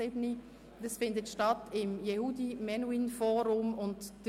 Die Vernissage findet im Yehudi Menuhin Forum Bern statt.